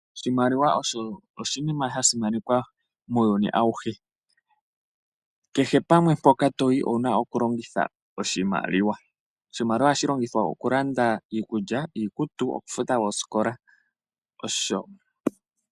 Oshimaliwa osho oshinima shasimanekwa muuyuni awuhe kehe pamwe mpoka toti owuna oku longitha oshimaliwa. Oshimaliwa ohashi longithwa okulanda iikulya, iikutu, okufuta oosikola nosho tuu.